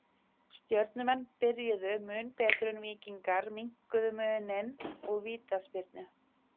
Baskneska er tungumál Baska á norðvestanverðum Spáni og í Suður-Frakklandi.